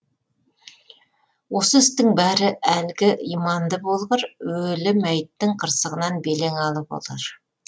осы істің бәрі әлгі иманды болғыр өлі мәйіттің қырсығынан белең алып отыр